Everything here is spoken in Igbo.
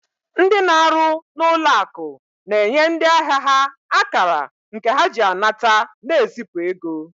Ndị na-arụ n'ụlọ akụ na-enye ndị ahịa ha akara nke ha ji anata na ezipụ ego